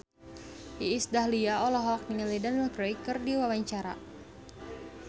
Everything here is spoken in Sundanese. Iis Dahlia olohok ningali Daniel Craig keur diwawancara